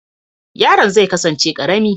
Yaron zai kasance karami